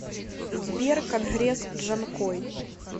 сбер конгресс джанкой